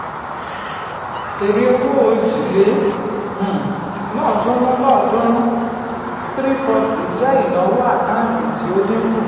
èrè-owó òjì lé um lọ́ọ̀ọ́dúnrún lọ́ọ̀ọ́dúnrún three forty jẹ́ ìnáwó àkáǹtì tí ó dínkù.